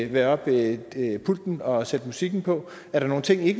være oppe ved pulten og sætte musikken på er der nogle ting i